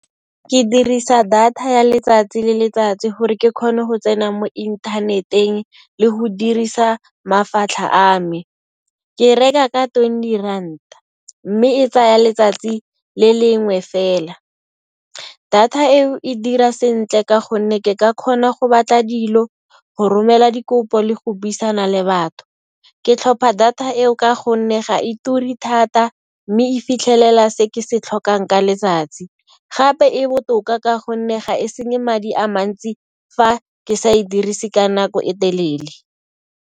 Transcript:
Ke dirisa data ya letsatsi le letsatsi gore ke kgone go tsena mo inthaneteng le go dirisa mafatlha a me. Ke e reka ka twenty ranta mme e tsaya letsatsi le lengwe fela. Data eo e dira sentle ka gonne ke ka kgona go batla dilo, go romela dikopo le go buisana le batho. Ke tlhopha data eo ka gonne ga e ture thata, mme e fitlhelela se ke se tlhokang ka letsatsi. Gape e botoka ka gonne ga e senye madi a mantsi fa ke sa e dirise ka nako e telele.